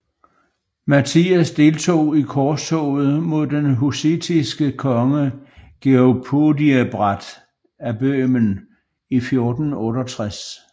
Matthias deltog i korstoget mod den hussitiske konge Georg Podiebrad af Bøhmen i 1468